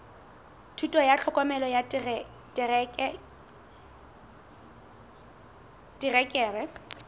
thuto ya tlhokomelo ya terekere